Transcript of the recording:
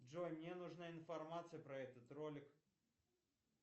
джой мне нужна информация про этот ролик